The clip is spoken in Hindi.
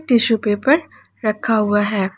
टिशू पेपर रखा हुआ है।